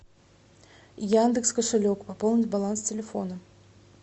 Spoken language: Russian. яндекс кошелек пополнить баланс телефона